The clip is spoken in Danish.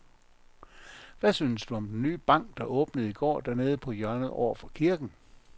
Hvad synes du om den nye bank, der åbnede i går dernede på hjørnet over for kirken?